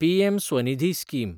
PM Svanidhi scheme